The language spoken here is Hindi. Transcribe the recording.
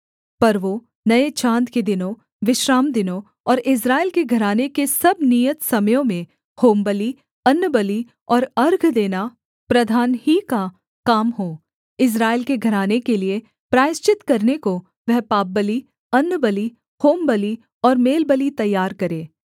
पर्वों नये चाँद के दिनों विश्रामदिनों और इस्राएल के घराने के सब नियत समयों में होमबलि अन्नबलि और अर्घ देना प्रधान ही का काम हो इस्राएल के घराने के लिये प्रायश्चित करने को वह पापबलि अन्नबलि होमबलि और मेलबलि तैयार करे